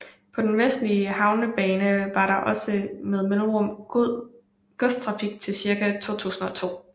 På den vestlige havnebane var der også med mellemrum godstrafik til cirka 2002